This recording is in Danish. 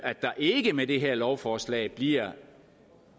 at der ikke med det her lovforslag bliver